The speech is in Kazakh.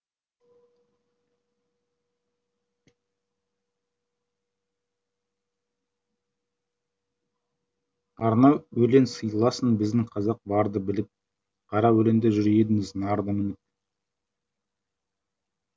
арнау өлең сыйласын біздің қазақ барды біліп қара өлеңде жүр едіңіз нарды мініп